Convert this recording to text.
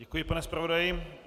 Děkuji, pane zpravodaji.